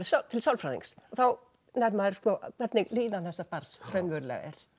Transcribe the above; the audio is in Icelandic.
til sálfræðings þá nær maður hvernig líðan þessa barns raunverulega er